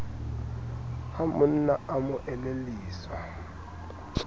ha monna a mo elelliswa